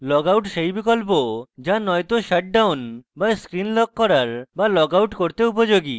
logout সেই বিকল্প যা নয়তো shutdown বা screen lock করার বা logout করতে উপযোগী